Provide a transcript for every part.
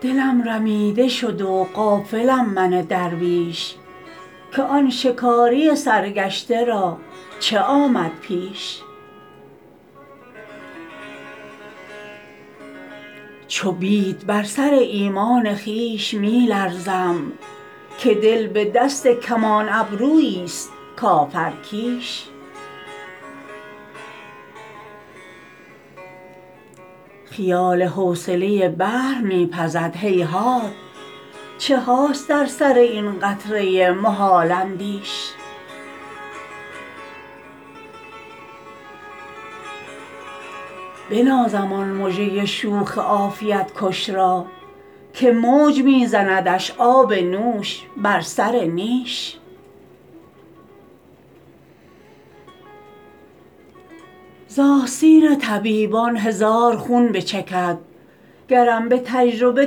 دلم رمیده شد و غافلم من درویش که آن شکاری سرگشته را چه آمد پیش چو بید بر سر ایمان خویش می لرزم که دل به دست کمان ابرویی ست کافرکیش خیال حوصله بحر می پزد هیهات چه هاست در سر این قطره محال اندیش بنازم آن مژه شوخ عافیت کش را که موج می زندش آب نوش بر سر نیش ز آستین طبیبان هزار خون بچکد گرم به تجربه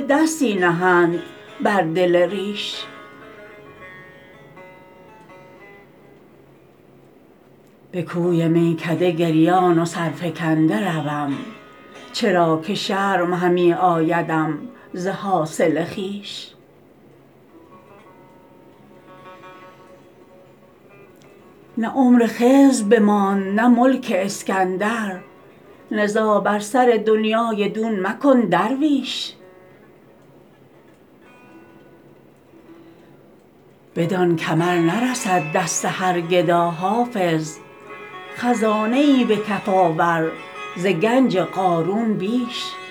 دستی نهند بر دل ریش به کوی میکده گریان و سرفکنده روم چرا که شرم همی آیدم ز حاصل خویش نه عمر خضر بماند نه ملک اسکندر نزاع بر سر دنیی دون مکن درویش بدان کمر نرسد دست هر گدا حافظ خزانه ای به کف آور ز گنج قارون بیش